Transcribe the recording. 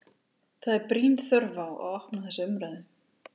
Það er brýn þörf á að opna þessa umræðu.